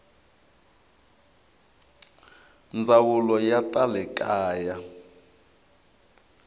ndzawulo ya ta le kaya